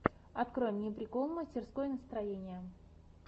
открой мне прикол мастерской настроения